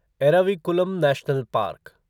Eravikulam national park